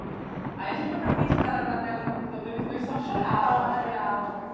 Aí a gente foi para frente da da tela do computador e os dois só choravam ai que bom choravam assim.